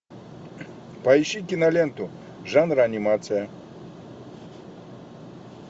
поищи киноленту жанр анимация